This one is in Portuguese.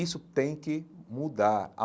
Isso tem que mudar.